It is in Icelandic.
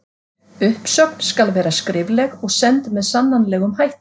Uppsögn skal vera skrifleg og send með sannanlegum hætti.